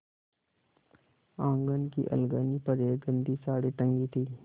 आँगन की अलगनी पर एक गंदी साड़ी टंगी थी